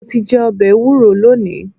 Mo ti jẹ ọbẹ ẹwúro lónìí.